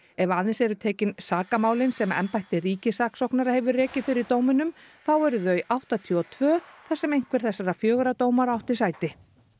ef aðeins eru tekin sakamálin sem embætti ríkissaksóknara hefur rekið fyrir dóminum þá eru þau áttatíu og tvö þar sem einhver þessara fjögurra dómara átti sæti